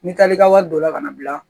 N'i taar'i ka wari don la kana bila